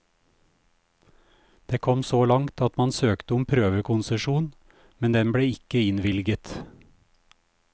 Det kom så langt at man søkte om prøvekonsesjon, men den ble ikke innvilget.